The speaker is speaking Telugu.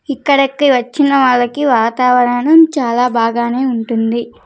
ఇక్కడకి వచ్చిన వాళ్ళకి వాతావరణం చాలా బాగానే ఉంటుంది.